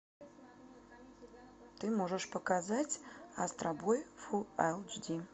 ты можешь показать астробой фулл эйч ди